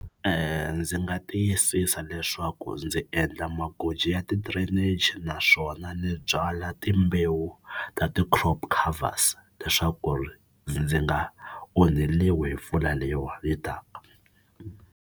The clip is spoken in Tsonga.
Ndzi nga tiyisisa leswaku ndzi endla magoji ya ti-drainage naswona ni byala timbewu ta ti-crop leswaku ri ndzi nga onheriwi hi mpfula leyiwani yi taka.